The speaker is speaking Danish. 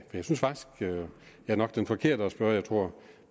jeg nok er den forkerte at spørge jeg tror